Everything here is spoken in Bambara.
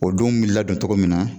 O denw bi ladon cogo min na